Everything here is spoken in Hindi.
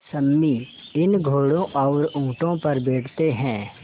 सम्मी इन घोड़ों और ऊँटों पर बैठते हैं